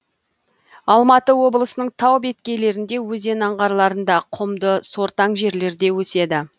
алматы облысының тау беткейлерінде өзен аңғарларында құмды сортаң жерлерде өседі